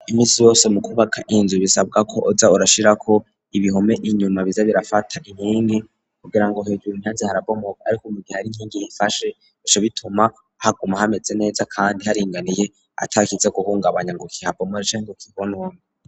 Iminsi yose mu kubaka inzu bisabwa ko uza urashira ko ibihome inyuma biza birafata inkindi kugira ngo hejure inyanze harabomoka ariko mugihari nkingi ifashe esho bituma haguma hameze neza kandi haringaniye atakise guhungabanya ngo mugihe habomotse canke kihonone.